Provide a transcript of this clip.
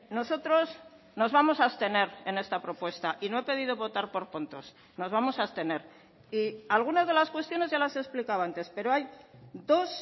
nosotros nos vamos a abstener en esta propuesta y no he pedido votar por puntos nos vamos a abstener y algunas de las cuestiones ya las he explicado antes pero hay dos